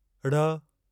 ढ़